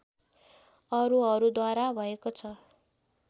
अरूहरूद्वारा भएको छ